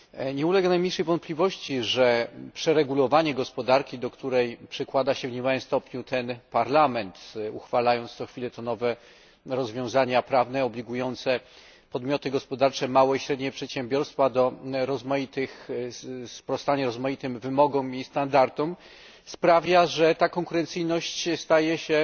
Nie ulega najmniejszej wątpliwości, że przeregulowanie gospodarki, do której przykłada się w niemałym stopniu ten Parlament, uchwalając co chwilę to nowe rozwiązania prawne obligujące podmioty gospodarcze, małe i średnie przedsiębiorstwa do sprostania rozmaitym wymogom i standardom, sprawia, że ta konkurencyjność staje się